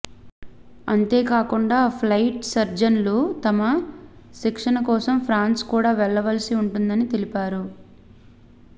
అంతే కాకుండా ఫ్లైట్ సర్జన్లు తమ శిక్షణ కోసం ఫ్రాన్స్ కు కూడా వెళ్ళవలసి ఉంటుందని తెలిపారు